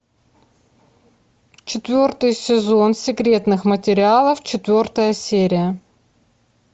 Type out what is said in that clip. четвертый сезон секретных материалов четвертая серия